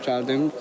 Qalib gəldim.